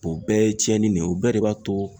O bɛɛ ye cɛnni ne ye o bɛɛ de b'a to